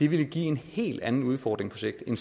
ville give en helt anden udfordring på sigt end